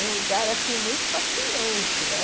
Um lugar, assim, muito fascinante, né?